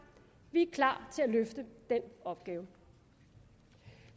vi er klar til at løfte den opgave